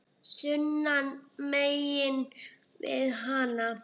sunnan megin við hana.